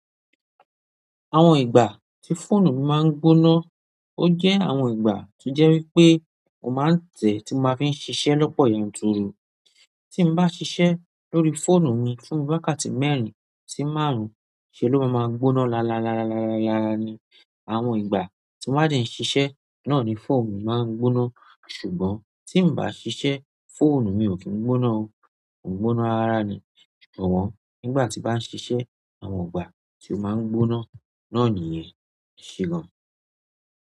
Àwọn ìgbà tí fóònù mi máa ń gbóná, ó jẹ́ àwọn ìgbà tó jẹ́ wípé mo máa ń tẹ̀ẹ́ tí mo máa fi ń ṣiṣẹ́ lọ́pọ̀ yanturu. Tí n bá ṣiṣẹ́ lórí fóònù mi fún wákàtí mẹ́rin sí márùn-ún, ṣe ló máa máa gbóná lala lala lala yaa ni. Àwọn ìgbà tí mo bá dẹ̀ ń ṣiṣẹ́ náà ni fóònù mi máa ń gbóná. Ṣùgbọ́n tí ǹ bá ṣiṣẹ́, fóònù mi ò kí n gbóná o. Kò ń gbóná rárá rá ni. Ṣùgbọ́n nígbà tí n bá ń ṣiṣẹ́, àwọn ìgbà tí ó máa ń gbóná náà nìyẹn. Ẹ ṣé gan-an.